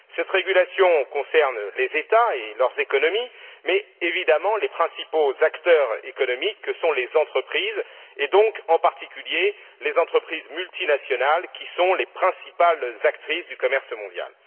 Cette régulation concerne les États et leurs économies, mais évidemment, les principaux acteurs économiques sont les entreprises et, en particulier, les entreprises multinationales, qui sont les principales actrices du commerce mondial.